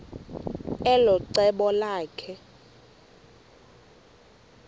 elo cebo lakhe